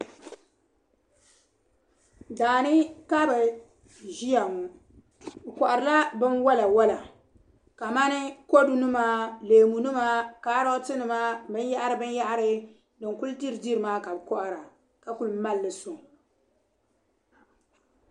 Daani ka bi ʒiya ŋɔ. bɛ kohiri la bɛn walawala, ka mani kodunima, leemu nima kaaroti nima bɛn yahiri bɛ yahiri, din kuli diridirimaa, ka bɛ kohira, ka kuli mali sɔŋ,